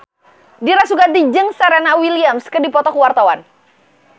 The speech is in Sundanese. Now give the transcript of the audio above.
Dira Sugandi jeung Serena Williams keur dipoto ku wartawan